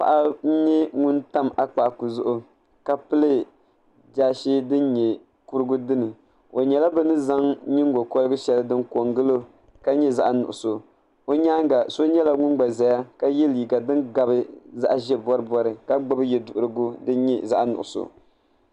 Paɣa n tam akpaaku zuɣu ka pili zipili shɛli din nyɛ zaashee dini o nyɛla bi ni zaŋ nyingokorigu shɛli n ko n gilo ka nyɛ zaɣ nuɣso o nyaanga so nyɛla ŋun gba ʒɛya ka yɛ liiga din gari zaɣ boribori ka gbubi yɛduɣurigu